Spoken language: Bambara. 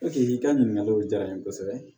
i ka ɲininkaliw diyara n ye kosɛbɛ